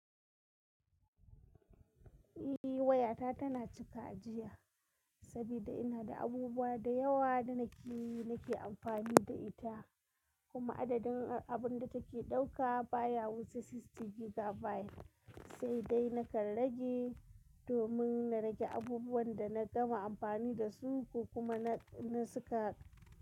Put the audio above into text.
Eh wayata tana cika ajiya, sabida ina da abubuwa da yawa da nake, nake amfani da ita, kuma adadin abun da take ɗauka baya wuce sixty gigabyte. Sai dai nakan rage domin na rage abubuwan da na gama amfani dasu ko kuma na, na suka.